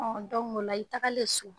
Ɔn o la i tagalen so